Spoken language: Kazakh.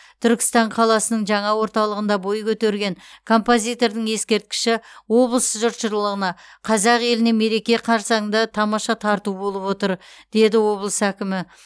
түркістан қаласының жаңа орталығында бой көтерген композитордың ескерткіші облыс жұртшылығына қазақ еліне мереке қарсаңында тамаша тарту болып отыр деді облыс әкімі